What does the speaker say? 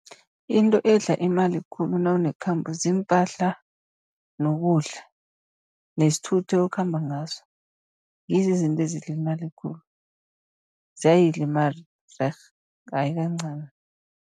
Into edla imali khulu nawunekhambo ziimpahla nokudla nesithuthi okhamba ngaso. Ngizo izinto ezidla imali khulu, ziyayidla imali rerh ayi kancani.